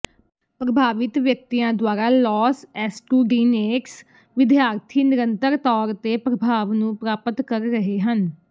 ਪ੍ਰਭਾਵਿਤ ਵਿਅਕਤੀਆਂ ਦੁਆਰਾ ਲੌਸ ਐਸਟੁਡੀਨੇਟਸ ਵਿਦਿਆਰਥੀ ਨਿਰੰਤਰ ਤੌਰ ਤੇ ਪ੍ਰਭਾਵ ਨੂੰ ਪ੍ਰਾਪਤ ਕਰ ਰਹੇ ਹਨ